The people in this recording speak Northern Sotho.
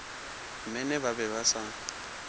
mene ba be ba sa